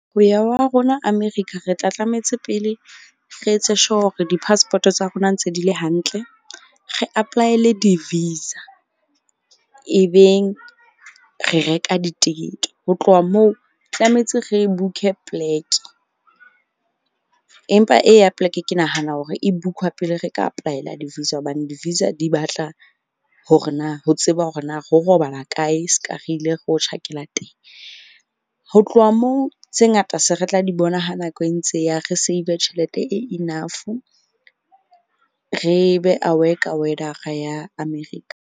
Ho ya wa rona America re tla tlametse pele re etse sure hore di-passport-o tsa rona ntse di le hantle. Re apply-ele di-visa e beng re reka ditekete. Ho tloha moo tlametse re book-e plek-e empa e ya plek, ke nahana hore e book-wa pele re ka apply-ela di-visa. Hobane di-visa di batla hore na ho tseba hore na ro robala kae seka re ile ro tjhakela teng. Ho tloha moo tse ngata se re tla di bona ha nako e ntse e ya re save tjhelete e enough. Re be aware ka weather-a ya America.